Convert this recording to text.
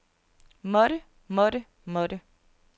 måtte måtte måtte